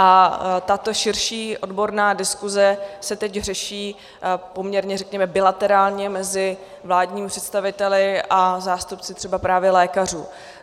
A tato širší odborná diskuse se teď řeší poměrně, řekněme, bilaterálně mezi vládními představiteli a zástupci třeba právě lékařů.